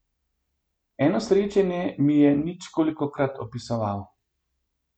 Eno srečanje mi je nič kolikokrat opisoval.